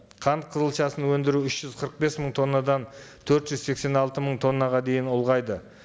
қант қызылшасын өндіру үш жүз қырық бес мың тоннадан төрт жүз сексен алты мың тоннаға дейін ұлғайды